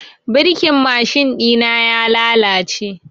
Birkin mashin ɗina ya lalace.